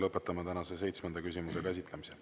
Lõpetame tänase seitsmenda küsimuse käsitlemise.